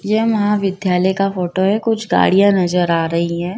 यह महाविद्यालय का फोटो है कुछ गाड़ियां नजर आ रही हैं।